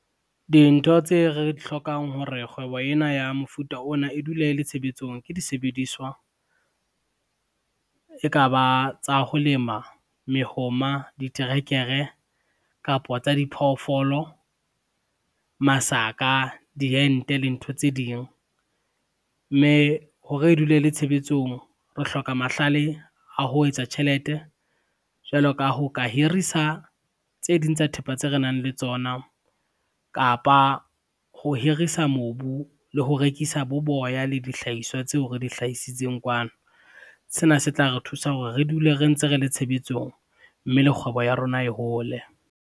Dintho tse re di hlokang hore kgwebo ena ya mofuta ona e dule e le tshebetsong ke disebediswa, ekaba tsa ho lema mehoma, diterekere kapo tsa diphoofolo, masaka, diente le ntho tse ding. Mme hore e dule le tshebetsong re hloka mahlale a ho etsa tjhelete jwalo ka ho ka hirisa tse ding tsa thepa tse re nang le tsona kapa ho hirisa mobu le ho rekisa bo boya le dihlahiswa tseo re di hlahisitseng kwano. Sena se tla re thusa hore re dule re ntse re le tshebetsong mme le kgwebo ya rona e hole.